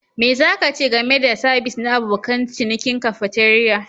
Me za ka ce game da sabis na abokan cinikin cafeteria?